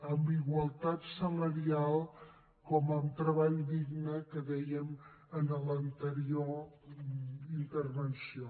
en igualtat salarial com en treball digne que dèiem en l’anterior intervenció